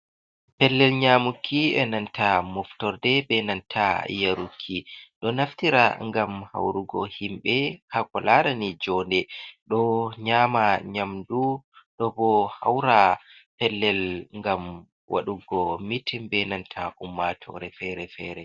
Pellel nyamuki, e nanta moftorde benanta yaruki, ɗo naftira ngam haurugo himbe hako larani jo nde, ɗo nyama nyamdu, ɗo bo haura pellel ngam waɗugo mitin, benanta ummatore fere-fere.